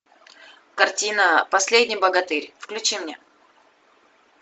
картина последний богатырь включи мне